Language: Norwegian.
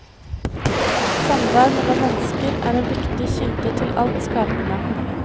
Samvær mellom mennesker er en viktig kilde til alt skapende.